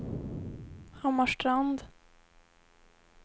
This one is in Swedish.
Hammarstrand